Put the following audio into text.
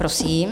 Prosím.